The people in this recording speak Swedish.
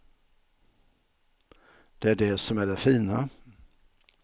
Det är det som är det fina.